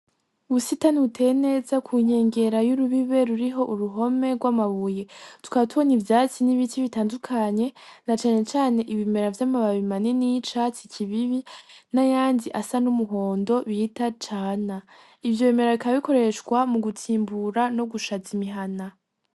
Ubusitani buteye neza ku nkengera y'urubibe ruriho uruhome rw'amabuye tukaba tubona ivyatsi n'ibiti bitandukanye na canecane ibimera vy'amababi manini y'icatsi kibibi n'ayandi asa n'umuhondo bita cana, ivyo bemera bikaba bikoreshwa mu gutsimbura no gushaza imihana.